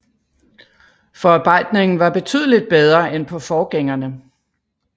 Forarbejdningen var betydeligt bedre end på forgængerne